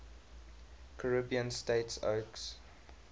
caribbean states oecs